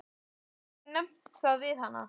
Hefurðu nefnt það við hana?